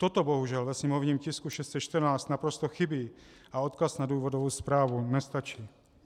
Toto bohužel ve sněmovním tisku 614 naprosto chybí a odkaz na důvodovou správu nestačí.